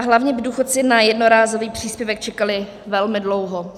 A hlavně by důchodci na jednorázový příspěvek čekali velmi dlouho.